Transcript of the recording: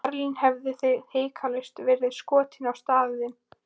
Í Berlín hefðuð þið hiklaust verið skotnir á staðnum.